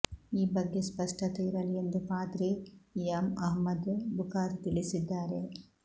ಈ ಬಗ್ಗೆ ಸ್ಪಷ್ಟತೆ ಇರಲಿ ಎಂದು ಪಾದ್ರಿ ಇಮಾಮ್ ಅಹ್ಮದ್ ಬುಖಾರಿ ತಿಳಿಸಿದ್ದಾರೆ